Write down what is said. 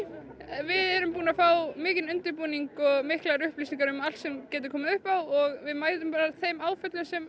við erum búin að fá mikinn undirbúning og miklar upplýsingar um allt sem getur komið upp á og við mætum bara þeim áföllum sem